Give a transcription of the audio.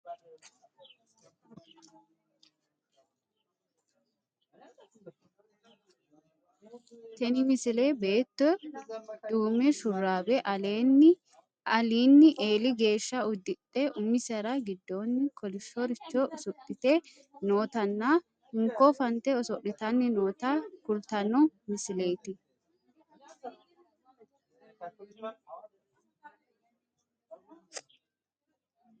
tini misile beetto duume sharbe alinni eeli geeshsha uddidhe umisera giddoonni kolishshoricho usudhite nootanna hinko fante oso'litanni noota kultanno misileeti